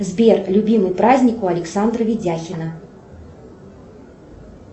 сбер любимый праздник у александра видяхина